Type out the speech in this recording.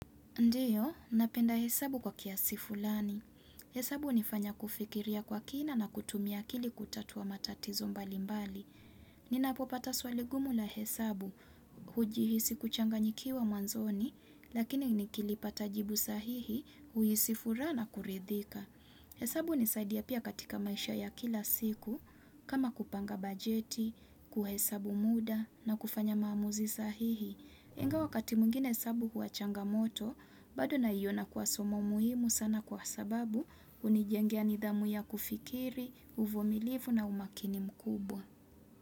Ndiyo, napenda hesabu kwa kiasifulani. Hesabu hunifanya kufikiria kwa kina na kutumia akili kutatua matatizo mbali mbali. Ninapopata swali gumu la hesabu, hujihisi kuchanganyikiwa mwanzoni, lakini nikilipata jibu sahihi, huhisi furaha na kuridhika. Hesabu hunisaidia pia katika maisha ya kila siku, kama kupanga bajeti, kuhesabu muda, na kufanya maamuzi sahihi. Ingawa wakati mwingine hesabu huwa changamoto, bado naiona kuwa somo muhimu sana kwa sababu hunijengea nidhamu ya kufikiri, uvumilivu na umakini mkubwa.